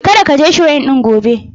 Kada ka je Shrine ɗin gobe.